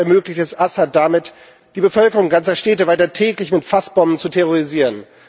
Russland ermöglicht es Assad damit, die Bevölkerung ganzer Städte weiter täglich mit Fassbomben zu terrorisieren.